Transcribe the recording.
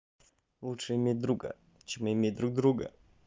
лучше иметь друга чем иметь друг друга